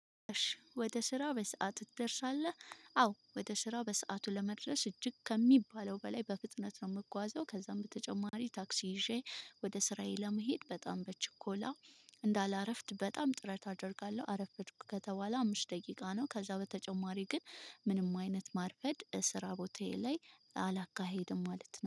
እሺ ወደ ስራ በሰአቱ ትደርሳለህ? አዎ ወደ ስራ በሰአቱ ለመድረስ እጅግ ከሚባለው በላይ በፍጥነት ነው የምጓዘው። ከዛም በተጨማሪ ታክሲ ይዤ ወደ ስራዬ ለመሄድ በጣም በችኮላ እንዳላረፍድ በጣም ጥረት አደርጋለሁ። አረፈድሁ ከተባለ አምስት ደቂቃ ነው። ከዛ በተጨማሪ ግን ምንም አይነት ማርፈድ ስራ ቦታዬ ላይ አላካሄድም ማለት ነው